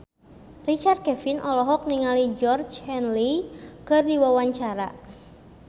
Richard Kevin olohok ningali Georgie Henley keur diwawancara